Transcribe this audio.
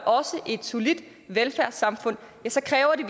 et solidt velfærdssamfund så kræver det